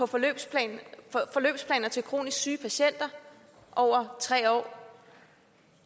forløbsplaner til kronisk syge patienter over tre år